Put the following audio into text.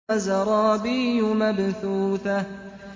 وَزَرَابِيُّ مَبْثُوثَةٌ